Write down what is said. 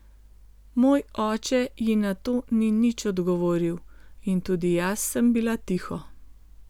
Moj oče ji na to ni nič odgovoril in tudi jaz sem bila tiho.